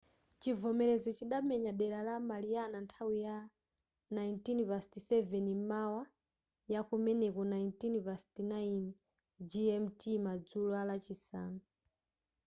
chivomerezi chidamenya dera la mariana nthawi ya 07:19 m'mawa yakumeneko 09:19 gmt madzulo alachisanu